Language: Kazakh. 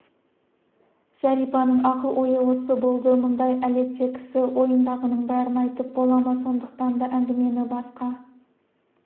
зәрипаның ақыл-ойы осы болды мұндай әлетте кісі ойындағының бәрін айтып бола ма сондықтан да әңгімені басқа